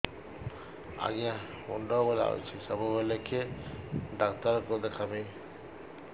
ଆଜ୍ଞା ମୁଣ୍ଡ ବୁଲାଉଛି ସବୁବେଳେ କେ ଡାକ୍ତର କୁ ଦେଖାମି